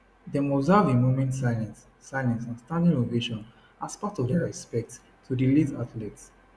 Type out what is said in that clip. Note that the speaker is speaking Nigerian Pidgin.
dem observe a moment silence silence and standing ovation as part of dia respects to di late athlete